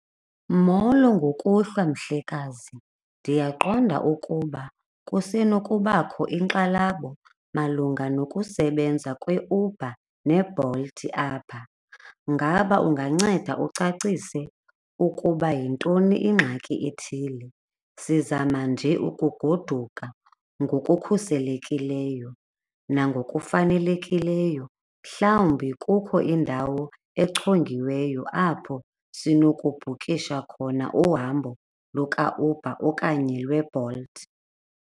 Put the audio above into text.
Molo, ngokuhlwa mhlekazi, ndiyaqonda ukuba kusenokubakho inkxalabo malunga nokusebenza kaUber neBolt apha. Ngaba unganceda ucacise ukuba yintoni ingxaki ethile? Sizama nje ukugoduka ngokukhuselekileyo nangokufanelekileyo. Mhlawumbi kukho indawo echongiweyo apho sinokubhukisha khona uhambo lukaUber okanye lweBolt.